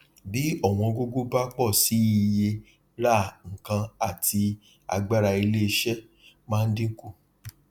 bí ọwọn gogo bá pọ síi iye rà nkán àti agbára ilé iṣẹ máa dín kù